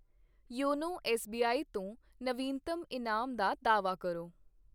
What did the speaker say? YONO SBI ਤੋਂ ਨਵੀਨਤਮ ਇਨਾਮ ਦਾ ਦਾਅਵਾ ਕਰੋ।